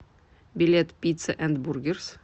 билет пицца энд бургерс